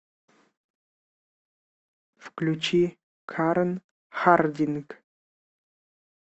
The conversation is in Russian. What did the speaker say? включи карэн хардинг